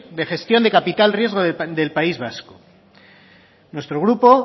de gestión de capital riesgo del país vasco nuestro grupo